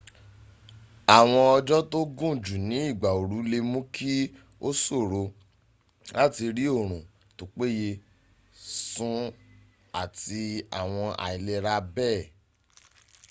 awon ojo to gun ju ni igba ooru le muu ki o soro lati ri orun to peye sun ati awon ailera bee